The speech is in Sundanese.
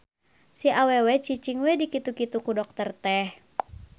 Si awewe cicing we di kitu-kitu ku dokter teh.